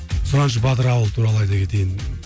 сұраншы батыр ауылы туралы айта кетейін